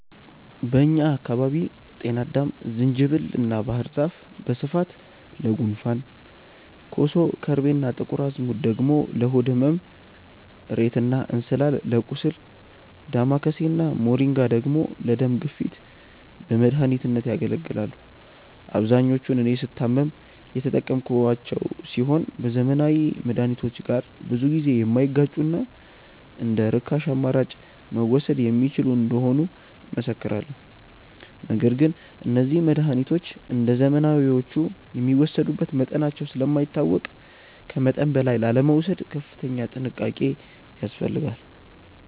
በእኛ አካባቢ ጤናአዳም፣ ዝንጅብል እና ባህር ዛፍ በስፋት ለጉንፋን፣ ኮሶ፣ ከርቤ እና ጥቁር አዝሙድ ደግሞ ለሆድ ህመም፣ እሬት እና እንስላል ለቁስል፣ ዳማከሴ እና ሞሪንጋ ደግሞ ለደም ግፊት በመድኃኒትነት ያገለግላሉ። አብዛኞቹን እኔ ስታመም የተጠቀምኳቸው ሲሆን ከዘመናዊ መድሃኒቶች ጋር ብዙ ጊዜ የማይጋጩና እንደርካሽ አማራጭ መወሰድ የሚችሉ እንደሆኑ እመሰክራለሁ። ነገር ግን እነዚህ መድሃኒቶች እንደዘመናዊዎቹ የሚወሰዱበት መጠናቸው ስለማይታወቅ ከመጠን በላይ ላለመውሰድ ከፍተኛ ጥንቃቄ ያስፈልጋል።